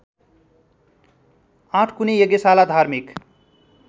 आठकुने यज्ञशाला धार्मिक